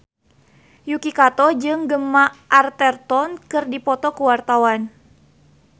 Yuki Kato jeung Gemma Arterton keur dipoto ku wartawan